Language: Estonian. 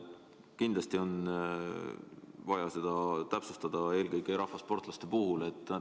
Kindlasti on vaja seda täpsustada, eelkõige rahvasportlaste puhul.